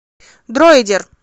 дроидер